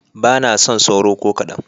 Ba na son sauro ko kaɗan.